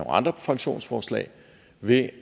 andre pensionsforslag ved